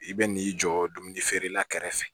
I bɛ n'i jɔ dumuni feerela kɛrɛfɛ